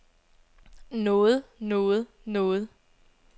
noget noget noget